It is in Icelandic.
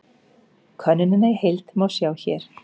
Könnunina í heild má sjá hér